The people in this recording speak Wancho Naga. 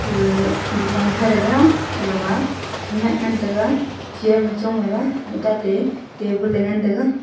agaga dukan kha raga agama khenyak ngan taiga chair ma chong leley tate table e ngan taiga.